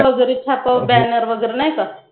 वगैरे छापावे Banner वगैरे नाही का